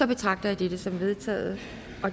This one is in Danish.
betragter jeg det som vedtaget